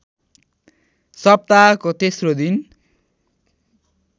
सप्ताहको तेस्रो दिन